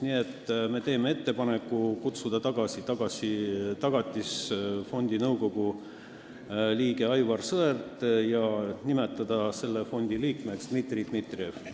Nii et me teeme ettepaneku kutsuda tagasi Tagatisfondi nõukogu liige Aivar Sõerd ja nimetada liikmeks Dmitri Dmitrijev.